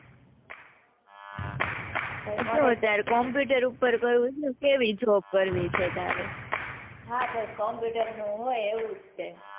કેટલો વિચાર computer પર કરવી છે કેવી job કરવી છે તારે હા બસ computer નું હોય એવું જ છે.